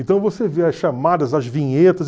Então você vê as chamadas, as vinhetas.